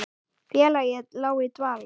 Félagið lá í dvala